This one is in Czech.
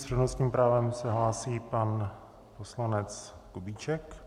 S přednostním právem se hlásí pan poslanec Kubíček.